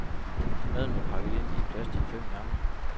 Maden var pakket ind i plastik fem gange.